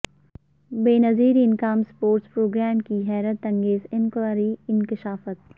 Benazir income support programme کی حیرت انگیز انکوائری انکشافات